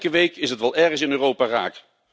Elke week is het wel ergens in Europa raakt.